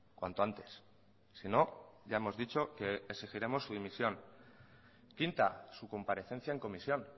cuanto antes sino ya hemos dicho que exigiremos su dimisión quinta su comparecencia en comisión